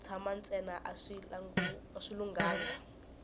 ku tshana ntsena a swi lunghanga